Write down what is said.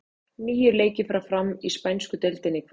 Níu leikir fara fram í spænsku deildinni í kvöld.